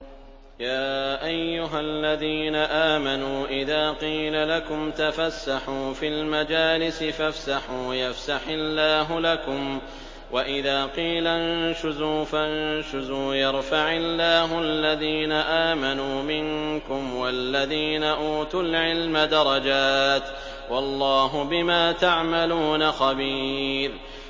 يَا أَيُّهَا الَّذِينَ آمَنُوا إِذَا قِيلَ لَكُمْ تَفَسَّحُوا فِي الْمَجَالِسِ فَافْسَحُوا يَفْسَحِ اللَّهُ لَكُمْ ۖ وَإِذَا قِيلَ انشُزُوا فَانشُزُوا يَرْفَعِ اللَّهُ الَّذِينَ آمَنُوا مِنكُمْ وَالَّذِينَ أُوتُوا الْعِلْمَ دَرَجَاتٍ ۚ وَاللَّهُ بِمَا تَعْمَلُونَ خَبِيرٌ